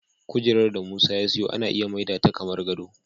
Kujerar da Musa ya siyo ana iya maida ta kamar gado.